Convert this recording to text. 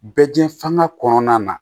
Bɛ diɲɛ fan kɔnɔna na